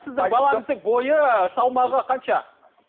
сіздің балаңыздын бойы салмағы қанша